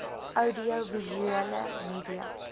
oudio visuele media